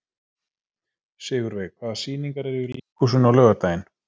Sigurveig, hvaða sýningar eru í leikhúsinu á laugardaginn?